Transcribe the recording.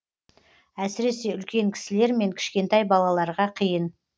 әсіресе үлкен кісілер мен кішкентай балаларға қиын